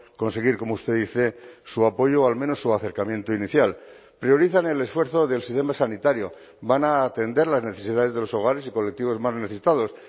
conseguir como usted dice su apoyo o al menos su acercamiento inicial priorizan el esfuerzo del sistema sanitario van a atender las necesidades de los hogares y colectivos más necesitados